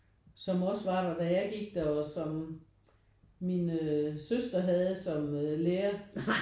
Som også var der da jeg gik der og som min søster havde som lærer